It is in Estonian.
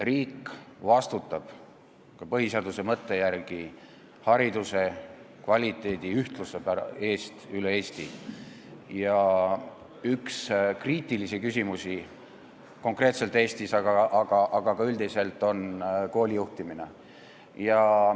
Riik vastutab ka põhiseaduse mõtte järgi hariduse kvaliteedi ühtluse eest üle Eesti, aga praegu on meil üks konkreetseid kriitilisi küsimusi kogu riigis koolide juhtimine.